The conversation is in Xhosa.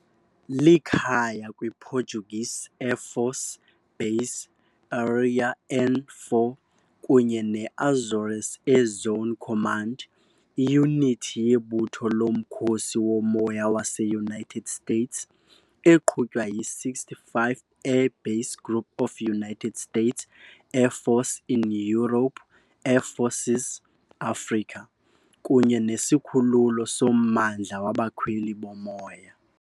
Likhaya kwiPortuguese Air Force "Base Aérea N 4" kunye neAzores Air Zone Command, iyunithi yebutho loMkhosi woMoya waseUnited States, eqhutywa yi-65th Air Base Group of United States Air Forces in Europe - Air Forces Africa, kunye nesikhululo sommandla wabakhweli bomoya.